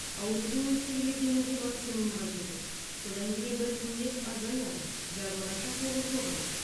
аурудың өткір кезеңінде максимумға жетеді содан кейін біртіндеп азаяды жазылғанша толық жоғалады